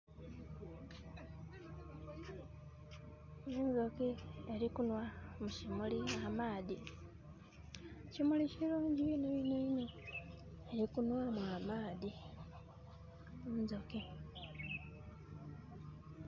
Enduki erikunwa mu kimuli amaadhi . Ekimuli kirungi inho inho. Diri kunwamu amaadhi.